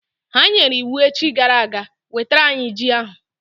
Ha nyere iwu echi gara aga, wetara anyị ji ahụ!